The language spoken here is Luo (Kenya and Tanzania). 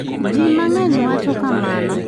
JI MANG'ENY wacho kamano.